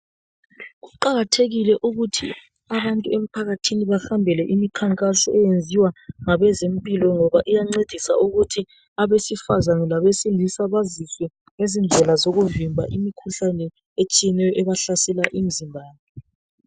Kuqakathekile ukuthi abantu emphakathini bahambele imkhankaso eyenziwa ngabezempilo ngoba iyancedisa ukuthi, abesifazane labesilisa baziswe ngezindlela zokuvimba imkhuhlane etshiyeneyo ebahlasela emzimbeni.